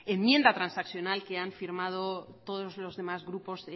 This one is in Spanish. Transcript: enmienda transaccional que han firmado todos los demás grupos